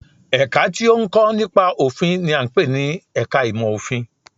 Ẹ̀ka tí ó ń kọ́ nípa òfin n i à ń pè ní ẹka ìmọ̀ òfin